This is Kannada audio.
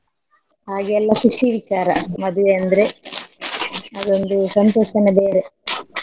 ಹಾಗೆ ಎಲ್ಲ ಖುಷಿ ವಿಚಾರ ಮದ್ವೆ ಅಂದ್ರೆ ಅದೊಂದು ಸಂತೋಷನೇ ಬೇರೆ.